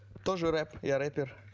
тоже рэп я рэпер